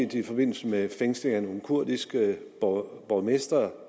det i forbindelse med fængslinger af nogle kurdiske borgmestre